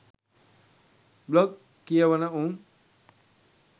blog කියවන උන්